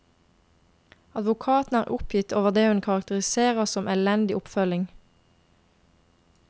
Advokaten er oppgitt over det hun karakteriserer som elendig oppfølging.